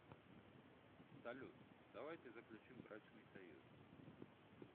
салют давайте заключим брачный союз